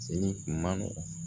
Seli man